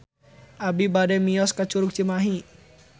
Abi bade mios ka Curug Cimahi